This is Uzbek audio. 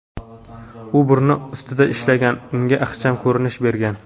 U burni ustida ishlagan, unga ixcham ko‘rinish bergan.